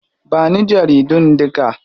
Ba ni jaridun duka.